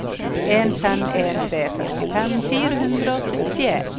to fem en tre førtifem fire hundre og syttien